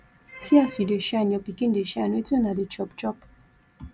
see as you dey shine your pikin dey shine wetin una dey chop chop